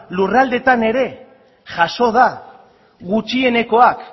lurraldeetan ere jaso da gutxienekoak